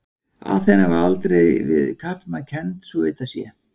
Aþena var aldrei við karlmann kennd svo að vitað sé.